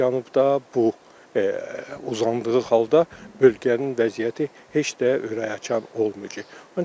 Cənubda bu uzandığı halda bölgənin vəziyyəti heç də ürəkaçan olmayacaq.